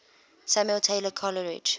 samuel taylor coleridge